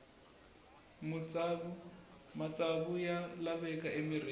matsavu ya laveka emirhini